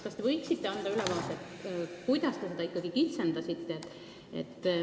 Kas te võiksite anda ülevaate, kuidas te seda ikkagi kitsendasite?